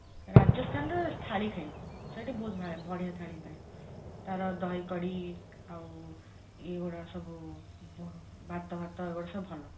ରାଜସ୍ଥାନ ଥାଳି ପାଇଁ ସେଇଠି ବଢିଆ ଥାଳି ମିଳେ ତାର ଦହି କଡି ଆଉ ଇଏ ଗୋଡା ସବୁ ଭାତ ଫାତ ଏଇଗୋଡା ସବୁ ଭଲ